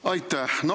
Aitäh!